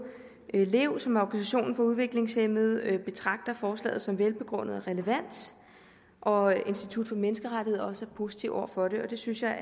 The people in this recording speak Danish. lev som er organisationen for udviklingshæmmede betragter forslaget som velbegrundet og relevant og at institut for menneskerettigheder også positiv over for det det synes jeg er